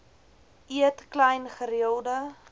eet klein gereelde